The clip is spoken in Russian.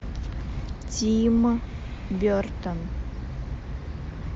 тим бертон